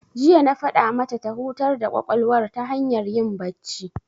Jiya na faɗa mata ta hutar da ƙwaƙwalwar ta hanyar yin bacci.